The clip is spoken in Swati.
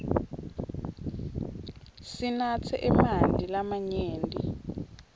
sinatse emanti lamanyenti